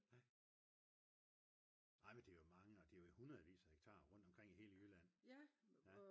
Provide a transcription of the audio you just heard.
ej men det er jo mange og det er hundredevis af hektar rundt omkring i hele Jylland